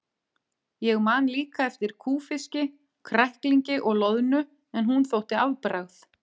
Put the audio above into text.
Ég man líka eftir kúfiski, kræklingi og loðnu en hún þótti afbragð.